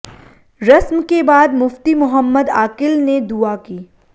रस्म के बाद मुफ्ती मोहम्मद आकिल ने दुआ की